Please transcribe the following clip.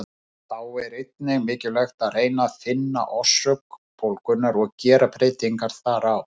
Þá er einnig mikilvægt að reyna að finna orsök bólgunnar og gera breytingar þar á.